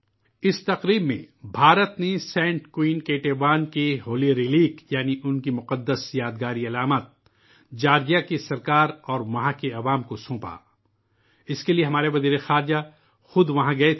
اس تقریب کے دوران، بھارت نے حکومت جارجیا اور وہاں کے عوام کو مقدس باقیات یا سینٹ کوئین کیٹیون کا آئیکن سونپا، اس مشن کے لئے ہمارے وزیر خارجہ بذاتِ خود وہاں گئے